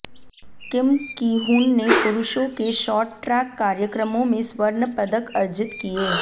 किम Kihoon ने पुरुषों के शॉर्ट ट्रैक कार्यक्रमों में स्वर्ण पदक अर्जित किए